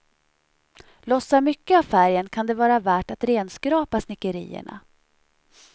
Lossar mycket av färgen kan det vara värt att renskrapa snickerierna.